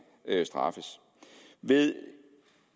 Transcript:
straffes ved